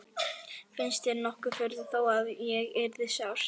Finnst þér nokkur furða þó að ég yrði sár?